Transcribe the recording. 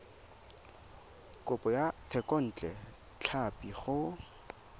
kopo ya thekontle tlhapi go